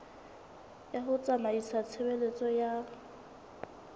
ya ho tsamaisa tshebeletso ya